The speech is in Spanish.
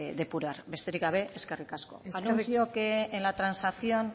depurar besterik gabe eskerrik asko anuncio que en la transacción